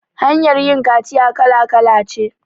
Hanyar yin kaciya kala kala ce